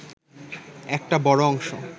একটা বড় অংশ